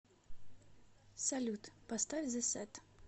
салют поставь зэ с э т